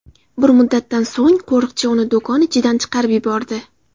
Bir muddatdan so‘ng qo‘riqchi uni do‘kon ichidan chiqarib yubordi.